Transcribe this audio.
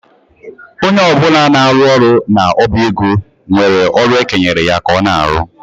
Onye ọ bụla na-arụ ọrụ n'ọba ego nwere ọrụ ekenyere ya ka ọ na-arụ.